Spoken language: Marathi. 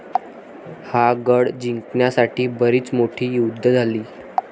हा गड जिंकण्यासाठी बरीच मोठी युद्धे झाली.